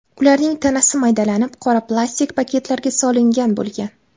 Ularning tanasi maydalanib, qora plastik paketlarga solingan bo‘lgan.